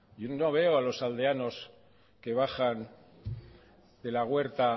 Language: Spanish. no veo a los aldeanos que bajan de la huerta